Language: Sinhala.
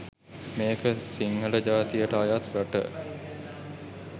මේ ක සිංහල ජාතියට අයත් රට